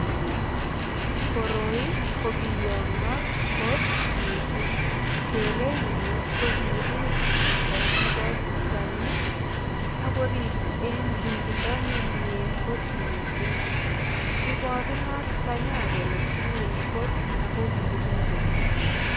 Koroi ko biyongot kot mising. Kerenyu ko kirip chito nebo tanyi ak korip en ripindo nemie kot mising. Iborunot tanyan kole tilil kot ago kiribok.